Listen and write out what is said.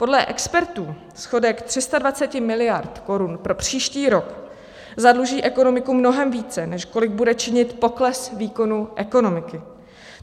Podle expertů schodek 320 miliard korun pro příští rok zadluží ekonomiku mnohem více, než kolik bude činit pokles výkonu ekonomiky.